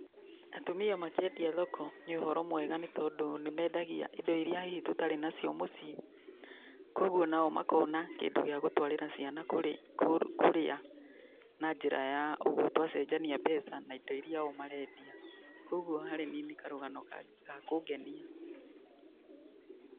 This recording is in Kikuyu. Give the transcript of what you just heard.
Atumia makĩendia thoko, nĩ ũhoro mwega, tondũ nĩmendagia indo iria hihi tũtarĩ nacio mũciĩ, kogwo nao makona kĩndũ gĩa gũtwarĩra ciana kũrĩa na njĩra ya ũguo twacenjania mbeca na indo iria o marendia, kogwo harĩ niĩ nĩ karũgano ga kũngenia